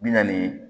Bi naani